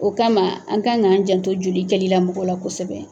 O kama an kan k'an janto joli kɛlila mɔgɔw la kosɛbɛ